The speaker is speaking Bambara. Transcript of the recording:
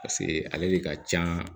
Paseke ale de ka can